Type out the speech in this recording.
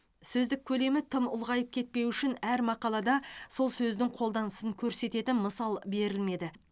сөздік көлемі тым ұлғайып кетпеуі үшін әр мақалада сол сөздің қолданысын көрсететін мысал берілмеді